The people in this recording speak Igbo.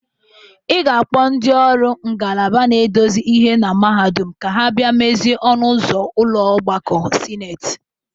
Ị ga-akpọ ndị ọrụ ngalaba na-edozie ihe na mahadum ka ha bia mezie ọnụ ụzọ ụlọ ọgbakọ sineti